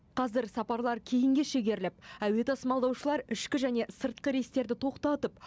қазір сапарлар кейінге шегеріліп әуе тасымалдаушылар ішкі және сыртқы рейстерді тоқтатып